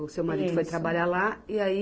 O seu marido foi trabalhar lá e aí,